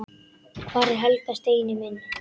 Hvar er Helga, Steini minn?